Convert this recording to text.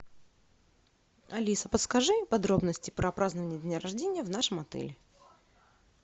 алиса подскажи подробности про празднование дня рождения в нашем отеле